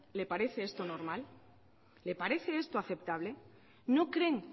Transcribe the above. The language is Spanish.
le parece esto normal le parece esto aceptable no creen